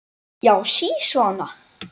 Já, sisona!